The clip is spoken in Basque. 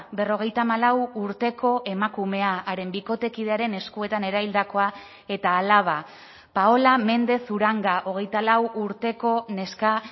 berrogeita hamalau urteko emakumea haren bikotekidearen eskuetan eraildakoa eta alaba paola mendez uranga hogeita lau urteko neska